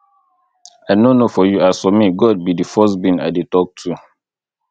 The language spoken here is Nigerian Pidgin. i no know for you as for me god be the first being i dey talk to